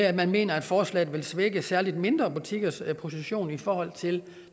at man mener at forslaget vil svække særlig de mindre butikkers position i forhold til